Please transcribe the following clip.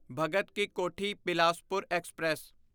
Bhagat ki Kothi Bilaspur express